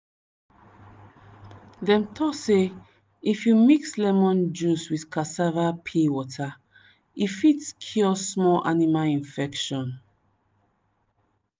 dem talk say if you mix lemon juice with cassava peel water e fit cure small animal infection.